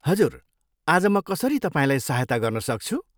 हजुर, आज म कसरी तपाईँलाई सहायता गर्न सक्छु?